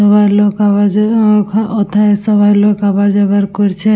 এবার লোক আবার যাওয়া উ-উ অথা আবার লোক যাবার করছে।